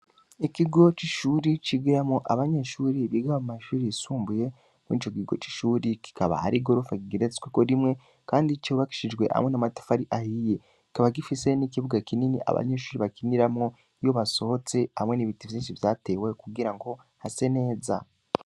Ikigo c'Ishure cigiramwo Abanyeshure Biga mumashure yisumbuye, Mwico kigo c'ishure kikaba harigorofa Rigeretweko rimwe, Kandi cubakishijwe hamwe namatafari ahiye, KiKaba gifise nikibuga kinini abanyeshure bakiniramwo, Iyo basohotse hamwe n'ibiti vyishi vyatewe Kugirango Hase neza.